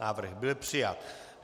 Návrh byl přijat.